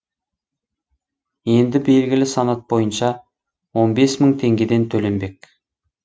енді белгілі санат бойынша он бес мың теңгеден төленбек